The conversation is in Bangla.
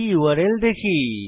এই ইউআরএল দেখি